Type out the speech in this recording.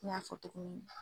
I y'a fɔ toko min na